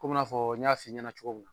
Komi n'a fɔɔ n y'a f'i ɲɛna cogo mun